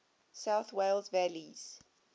south wales valleys